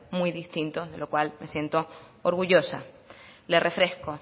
muy distintos de lo cual me siento orgullosa le refresco